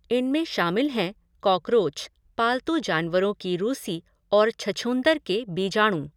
इनमें शामिल हैं कॉकरोच, पालतू जानवरों की रूसी और छछूंदर के बीजाणु।